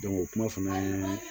o kuma fana ye